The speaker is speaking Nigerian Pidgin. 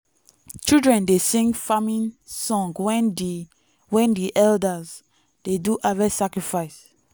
children dey sing farming song when di when di elders dey do harvest sacrifice.